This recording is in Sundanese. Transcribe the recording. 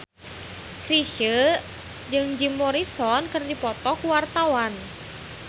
Chrisye jeung Jim Morrison keur dipoto ku wartawan